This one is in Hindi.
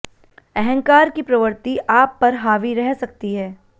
अहंकार की प्रवृति आप पर हावि रह सकती है